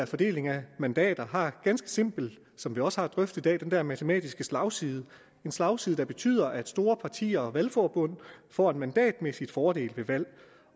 fordeling af mandater har ganske simpelt som vi også har drøftet i dag den der matematiske slagside en slagside der betyder at store partier og valgforbund får en mandatmæssig fordel ved valg